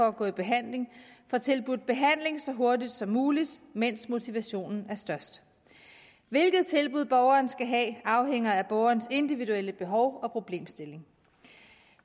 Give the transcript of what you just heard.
at gå i behandling får tilbudt behandling så hurtigt som muligt mens motivationen er størst hvilket tilbud borgeren skal have afhænger af borgerens individuelle behov og problemstilling